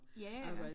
Ja ja